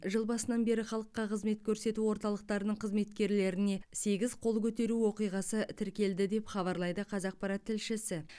жыл басынан бері халыққа қызмет көрсету орталықтарының қызметкерлеріне сегіз қол көтеру оқиғасы тіркелді деп хабарлайды қазақпарат тілшісі